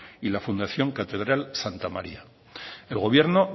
y la fundación catedral santa maría el gobierno